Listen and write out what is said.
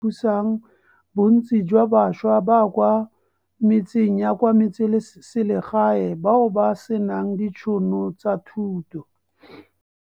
Thusang bontsi jwa bašwa ba kwa metseng ya kwa metseselegae bao ba senang ditšhono tsa thuto.